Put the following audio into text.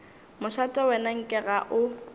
mošate wena nke ga o